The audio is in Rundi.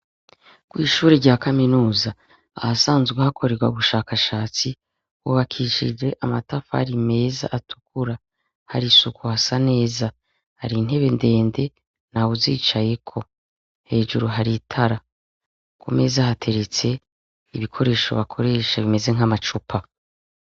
Kwishure ryakaminuza ahasanzwe hakorerwa ubushakashatsi hubakishije amatafari meza atukura hari isuku hasa neza hari intebe ndende ntawuzicayeko hejuru hari itara kumeza hateretse ibikoresho bakoresha bimeze nkamacupa